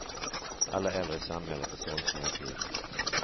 Alla äldre i samhället är sorgsna och uppgivna.